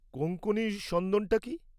কোঙ্কনি সন্দনটা কী?